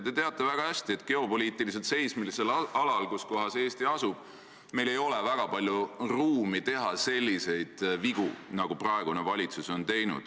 Te teate väga hästi, et geopoliitiliselt seismilisel alal, kus Eesti asub, ei ole väga palju ruumi teha selliseid vigu, nagu praegune valitsus on teinud.